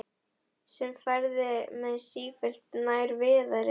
Sem færði mig sífellt nær Viðari.